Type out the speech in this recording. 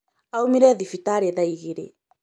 Aumire thibitarĩ thaa ĩgĩrĩ